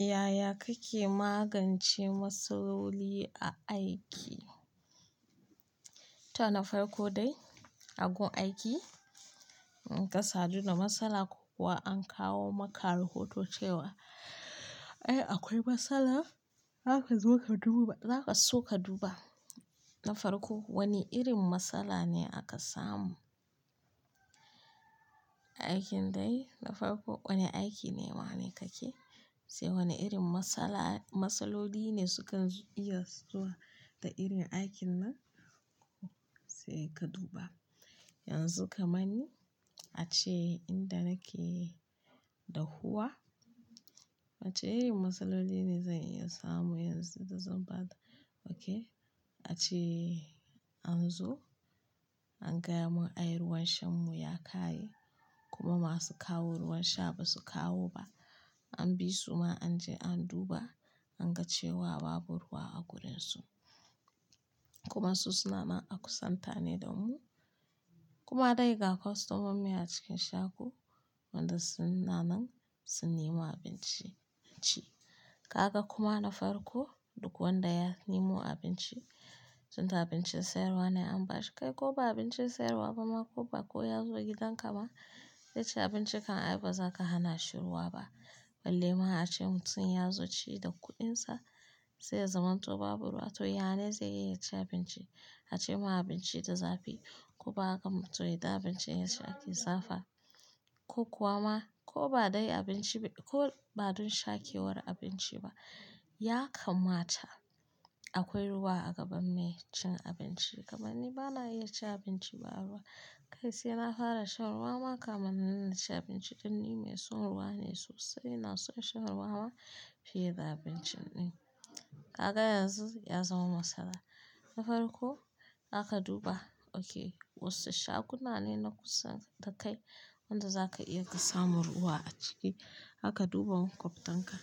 Yaya kake magance matsaloli a aiki? To na farko dai a gun aiki, kasadu da matsala ko kuwa an kawo maka rahoto cewa, "Ai akwai matsala." Za ka so ka duba, za ka so ka duba na farko wane irin matsala ne aka samu. Aikin dai na farko wane aiki ne, wane kake? Sai wane irin matsala- matsaloli ne sukan iya zuwa da irin aikin nan? Sai ka duba. Yanzu kaman ni ace inda nake dahuwa wace irin matsaloli ne da zan iya samu a wajen ace an zo an gaya mun, "Ai ruwan shan mu ya ƙare kuma masu kawo ruwan sha ba su kawo ba." An bi su ma an je an duba an ga cewa babu ruwa a gurin su. Kuma su suna nan a kusan tane da mu. Kuma dai ga kostoman mu a cikin shago wanda su na nan sun nemo abinci a ci. Kaka kuma na farko duk wanda ya nemo abinci tunda abincin sayarwa ne an ba shi kai ko ba abincin sayarwa ba ma ko ba ko ya zo gidanka ba dai ci abinci kan ai bazaka hana shi ruwa ba. Balle ma ace mutum ya zo ci da kuɗinsa sai ya zamanto babu ruwa to ya nene zai iya ya ci abinci? Ace mu abinci da zafi ko ba gam to ita abincin ya ci aƙi zafi ko kuwa ma ko ba dai abinci ba ko ba don sha kewar abinci ba. Ya kammata akwai ruwa a gaban mai cin abinci gam ani bana iya ci abinci ba ruwa. Kai sai na fara shan ruwa ma kamar na nuna ci abinci ɗin ni mai son ruwa ne sosai na so in sha ruwa ma fiye da abincin ɗin. Kaga yanzu ya zama matsala na farko aka duba oke wasu shaguna ne na kusa da kai wanda za ka iya ka samu ruwa a cike. Haka duba makuftanka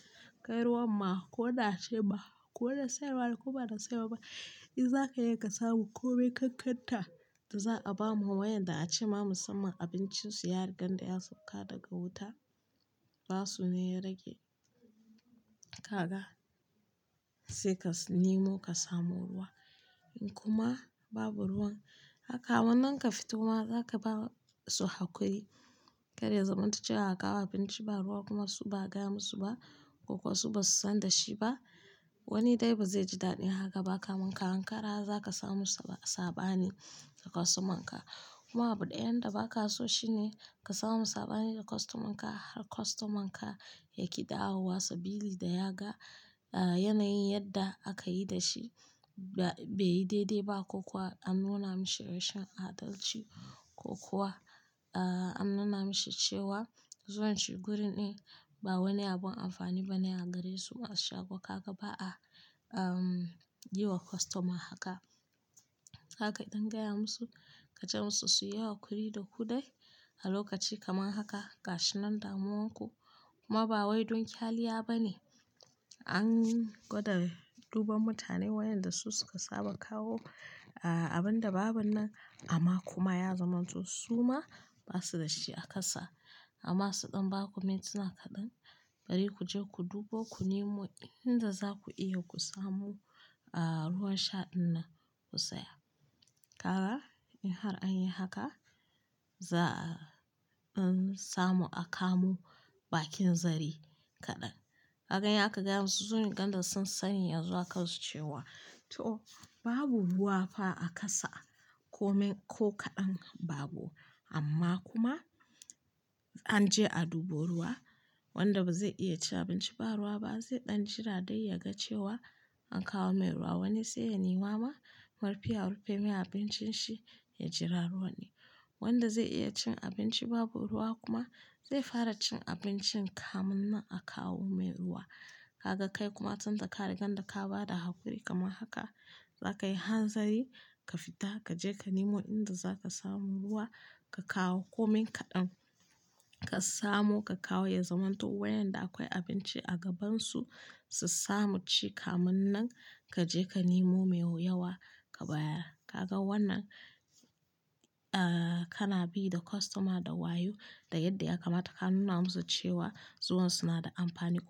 kai ruwan ma ko na ce ba ko da sayarwa ko ba da sayarwa ba. I za ka iya ka samu ko mai kankanta da za a ba mu wayanda ace ma musamman abincin su ya riga da ya sauka daga wuta basu ne ya rage. Kaga sai ka nemo ka samu ruwa kuma babu ruwan haka wannan ka fita kuma za ka ba su hakuri. Kai dai zamantace haka ba abinci ba ruwa kuma su ba gaya musu ba ko kuwa su ba su san da shi ba. Wani dai ba zai ji daɗi haka ba kamanka hankara za ka samu saɓani da kostoman ka. Kuma abu ɗayan da ba ka so shi ne ka samu saɓani da kostoman ka har kostoman ka yaƙi dawowa sabili da ya ga, ah yanayin yadda aka yi da shi ba-bai daidai ba ko kuwa an nuna mashi rashin adalci ko kuwa ah an nuna mashi cewa zuwan shi guri ne ba wani abun amfani ba na a gare su a shago. Kaka ba a, ehm yi wa kostoma haka. Zaka dan gaya musu ka ce musu su yi hakuri da kuɗai a lokaci kamar haka gashi nan damuwanku kuma ba wai don kyaliya ba ne. An gwada duba mutane wayanda su suka saba kawo ah abin da babu nan amma kuma ya zamanto su ma ba su da shi a ƙasa. Amma su ɗan ba ku mintuna kaɗan bari ku je ku duba ku nemo inda za ku iya ku samu ah ruwan sha ɗin nan ku saya. Kaga in har an yi haka za-an samu a kamo bakin zare kaɗan. Kaka ya ka gaya musu zurin ganda sun sani yanzu aka su cewa to babu ruwa fa a ƙasa komin ko kaɗan babu amma kuma an je a duba ruwa wanda ba zai iya ci abinci ba ruwa ba zai ɗan jira dai ya ga cewa an kawo mai ruwa. Wani sai ya nemo ma mafiya rufin mai abincin shi ya jira ruwa ne. Wanda zai iya cin abinci babu ruwa kuma zai fara cin abincin kafin nan akawo mai ruwa Kaka kai kuma tunda ka riga da ka ba da hakuri kamar haka za ka yi hanzari ka fita ka je ka nemo inda za ka samu ruwa ka kawo komin kaɗan ka samu ka kawo ya zamanto wayanda akwai abinci a gabansu su samu ci kam nan ka je ka nemo mai yawa ka bayar. Kaka wannan ah kana bi da kostoma da wayo da yadda ya kammata ka nuna musu cewa zuwan su na da amfani kuma.